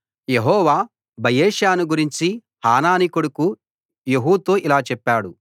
యెహోవా బయెషాను గురించి హనానీ కొడుకు యెహూతో ఇలా చెప్పాడు